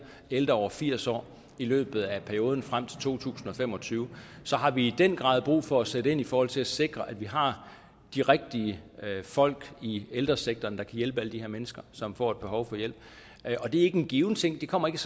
ældre over firs år i løbet af perioden frem til to tusind og fem og tyve har vi i den grad brug for at sætte ind i forhold til at sikre at vi har de rigtige folk i ældresektoren der kan hjælpe alle de her mennesker som får et behov for hjælp og det er ikke en given ting det kommer ikke